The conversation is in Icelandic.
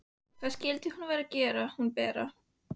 Hvað skyldi hún vera að gera hún Bera?